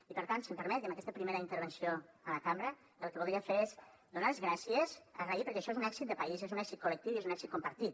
i per tant si m’ho permet i en aquesta primera intervenció a la cambra el que voldria fer és donar les gràcies agrair ho perquè això és un èxit de país és un èxit col·lectiu i és un èxit compartit